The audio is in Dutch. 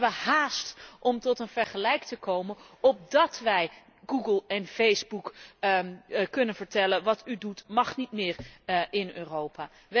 We hebben haast om tot een vergelijk te komen opdat wij Google en Facebook kunnen zeggen Wat u doet mag niet meer in Europa.